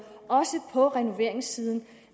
også på renoveringssiden